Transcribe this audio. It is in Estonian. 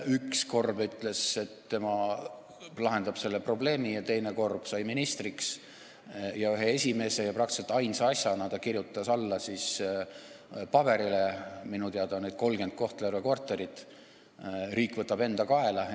Üks Korb ütles, et tema lahendab selle probleemi, ja teine Korb sai ministriks ning ühe esimese ja peaaegu ainsa asjana kirjutas ta alla paberile, et need Kohtla-Järve korterid, mida minu teada on 33, võtab riik enda kaela.